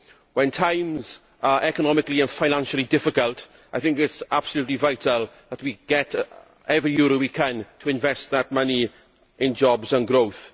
When times are economically and financially difficult, I think it is absolutely vital that we get every euro we can so as to invest that money in jobs and growth.